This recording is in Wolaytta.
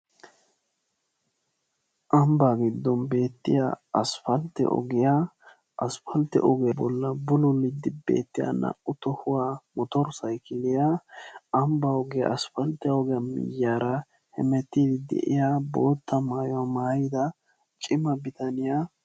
Ambbaa giddon beettiyaa aspaltte ogiyaa. aspaltte ogiyaa bollan bululiidi beettiyaa naa"u motor saykiliyaa ambba ogiyaa aspaltte ogiyaa miyiyaara hemettiidi de'iyaa bootta maayuwaa maayida cima bitaniyaa.